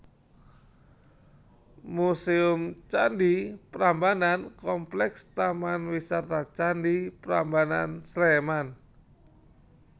Muséum Candhi Prambanan Kompleks Taman Wisata Candi Prambanan Sleman